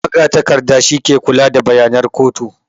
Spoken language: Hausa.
Magatakarda shi ke kula da bayanan kotu